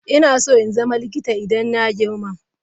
Ina so in zama likita idan na girma.